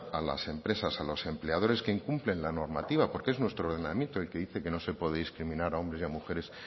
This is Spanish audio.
a las empresas a los empleadores que incumplen la normativa porque es nuestro ordenamiento el que dice que no se puede discriminar a hombres y mujeres